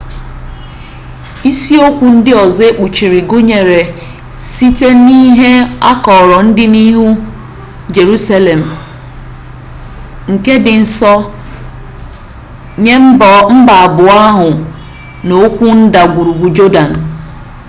isiokwu ndị ọzọ ekpuchiri gụnyere site n'ihe akọrọ ọdịnihu jerusalem nke dị nsọ nye mba abụọ ahụ na okwu ndagwurugwu jọdan